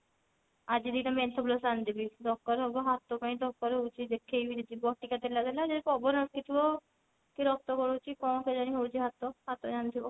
ଆଜି ଦି ଟା menthol plus ଆଣିଦେବି ଦରକାର ହବ ହାତ ପାଇଁ ଦରକାର ହଉଛି ଦେଖେଇ କରି ଯିବ ଠିକ ହେଲା ହେଲା ଯଦି ପବନ ଅଟକି ଥିବ କି ରକ୍ତ ବଢୁଛି କଣ କେଜାଣି ହଉଛି ହାତ ହାତ ଜାଣିଥିବ